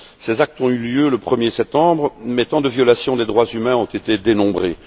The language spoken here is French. Ces actes ont eu lieu le 1er septembre mais tant de violations des droits humains ont été dénombrées.